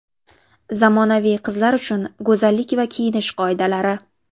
Zamonaviy qizlar uchun go‘zallik va kiyinish qoidalari.